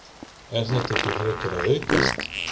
Er þetta ekki frekar að aukast?